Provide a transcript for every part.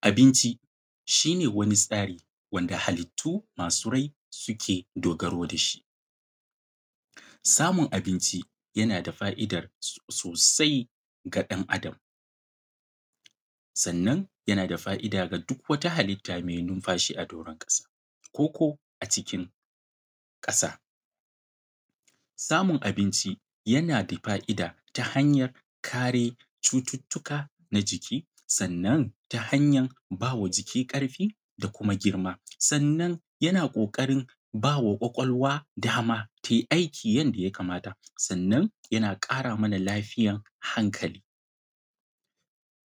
Abinci shi ne wani tsari wanda halittu masu rai suke dogaro dashi. Samun abinci yana da fa’idar sosai ga ɗan Adam, sannan yana da fa’ida ga duk wata halitta mai numfashi a doron ƙasa, koko a cikin kasa. Samun abinci yana da fa’ida ta hanyar kare cututuka na jiki sannan ta hanya bawa jiki ƙarfi da kuma girma, sannan yana ƙoƙari bawa ƙwaƙwalwa dama tai aiki yanda ya kamata, sannan yana ƙara mana lafiyar hankali.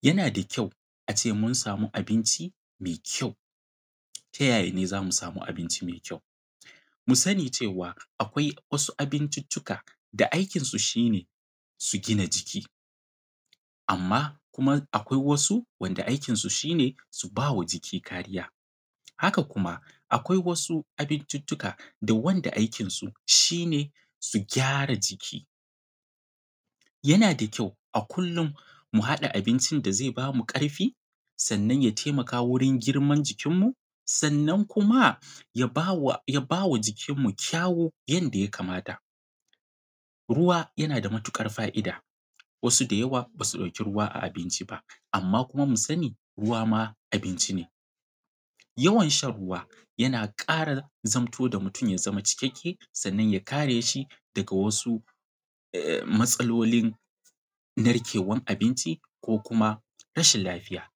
Yana da kyau ace mun samu abinci mai kyau, tayaya ne zamu samu abinci mai kyau? Mu sani cewa akwai wasu abincicuka da aikinsu shi ne su gina jiki, amma akwai wasu wanda aikinsu shi ne su bawa jiki kariya, haka kuma akwai wasu abincucuka da wanda aikinsu shi ne su gyara jiki. Yana da kyau a kullum mu haɗa abincin da zai bamu ƙarfi sannan ya taimaka wajen girman jikinnmu, sannan kuma ya bawa jikinmu kyawu yadda ya kamata. Ruwa yana da matuƙar fa’ida, wasu da yawa basu ɗauki ruwa a abinci ba, amma kuma mu sani ruwa ma abinci ne, yawan shan ruwa yana ƙara zamto da mutum ya zama cikakke sannan ya kare shi daga wasu matsalolin narkewan abinci ko kuma rashin lafiya. s